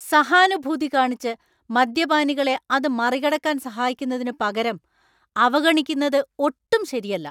സഹാനുഭൂതി കാണിച്ച് മദ്യപാനികളെ അത് മറികടക്കാൻ സഹായിക്കുന്നതിനുപകരം അവഗണിക്കുന്നത് ഒട്ടും ശരിയല്ല.